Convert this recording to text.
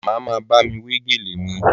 Màmá ma bámi wé gèlè mi